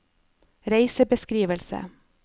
reisebeskrivelse